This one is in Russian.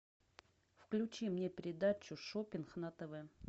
включи мне передачу шоппинг на тв